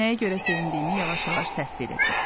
Nəyə görə sevindiyimi yavaş-yavaş təsvir edim.